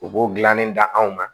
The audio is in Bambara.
U b'o gilannen da anw ma